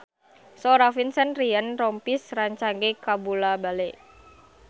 Sora Vincent Ryan Rompies rancage kabula-bale